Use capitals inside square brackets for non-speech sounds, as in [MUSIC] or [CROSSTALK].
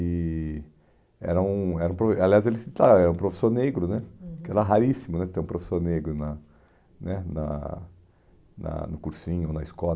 E era um era um pro aliás [UNINTELLIGIBLE] era professor negro né, uhum, que era raríssimo ter um professor negro na né na na no cursinho, na escola.